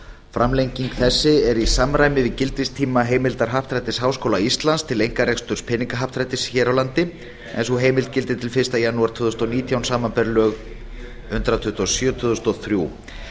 framlenging þessi er í samræmi við gildistíma heimildar happdrættis háskóla íslands til einkareksturs peningahappdrættis hér á landi en sú heimild gildir til fyrsta janúar tvö þúsund og nítján samanber lög númer hundrað tuttugu og sjö tvö þúsund og þrjú